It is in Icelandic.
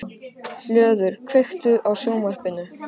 Hlöður, kveiktu á sjónvarpinu.